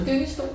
Gyngestol